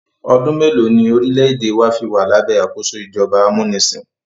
ọdún mélòó ní orílẹ̀-èdè wa fí wà lábẹ́ àkóso ìjọba amúnisìn?